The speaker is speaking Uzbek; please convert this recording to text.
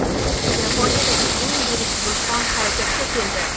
Yaponiyadagi eng yirik vulqon harakatga keldi.